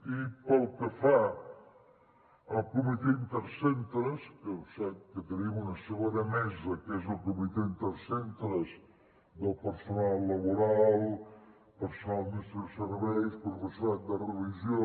i pel que fa al comitè intercentres que sap que tenim una segona mesa que és el comitè intercentres del personal laboral personal d’administració i serveis professorat de religió